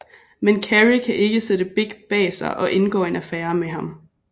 Men Carrie kan ikke sætte Big bag sig og indgår en affære med ham